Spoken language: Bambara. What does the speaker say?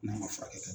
N'a ma furakɛ